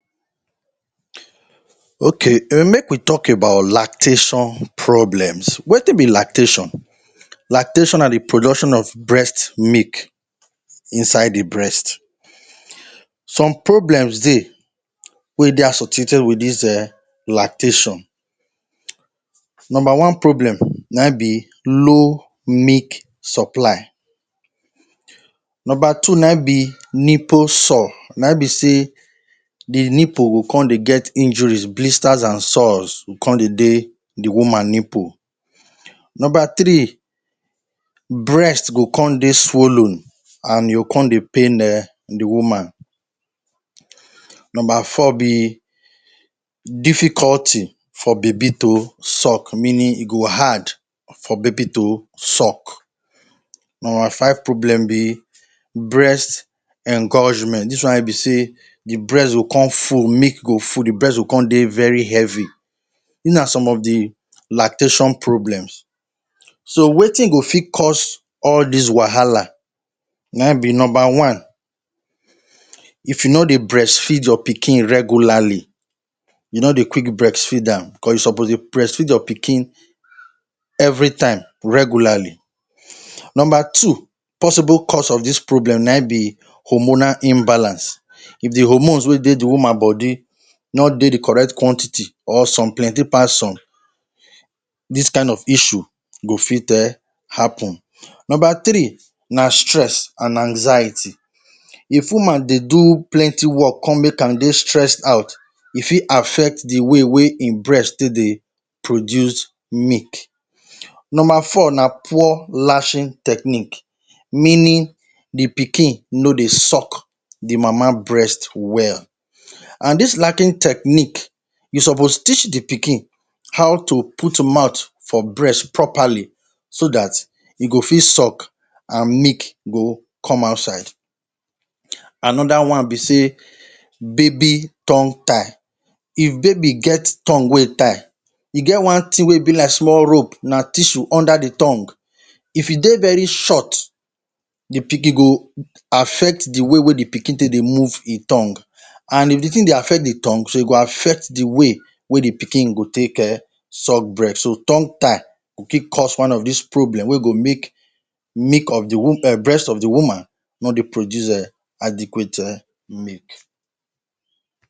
Okay, um make we talk about lactation problems. Wetin be lactation? Lactation na de production of breast milk inside the breast. Some problems dey wey dey associated wit dis um lactation. Number one problem naim be low milk supply. Number two naim be nipple sore. Naim be sey de nipple go come dey get injuries. Blisters and sores go come dey dey de woman nipple. Number three. Breast go come dey swollen and e go come dey pain um de woman. Number four be difficulty for baby to suck. Meaning, e go hard for baby to suck. Number five problem be breast engorgement. Dis one wey be sey the breast go come full, milk go full. De breast go come dey very heavy. These na some of de lactation problems. So wetin go fit cause all these wahala naim be; Number one. If you no dey breastfeed your pikin regularly. You no dey quick breastfeed am, cos you suppose dey breastfeed your pikin every time - regularly. Number two possible cause of dis problem naim be hormonal imbalance. If de hormones wey dey de woman body no dey de correct quantity or some plenty pass some, dis kind of issue go fit um happen. Number three na stress and anxiety. If woman dey do plenty work come make am dey stressed out, e fit affect de way wey im breast take dey produce milk. Number four na poor latching technique. Meaning, de pikin no dey suck de mama breast well. And dis lacking technique, you suppose teach de pikin how to put mouth for breast properly so dat e go fit suck and milk go come outside. Another one be sey baby tongue-tie. If baby get tongue wey tie, e get one thing wey be like small rope, na tissue under de tongue. If e dey very short, de e go affect de way wey de pikin take dey move im tongue. And if de thing dey affect the tongue, so e go affect de way wey de pikin go take um suck breast. So tongue-tie go fit cause one of dis problem wey go make milk of de um breast of de woman no dey produce um adequate um milk.